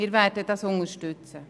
Wir werden dies unterstützen.